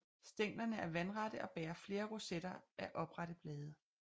Stænglerne er vandrette og bærer flere rosetter af oprette blade